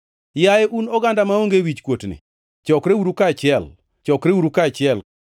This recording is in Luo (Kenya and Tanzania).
Yaye un oganda maonge wichkuotni, chokreuru kaachiel, chokreuru kaachiel,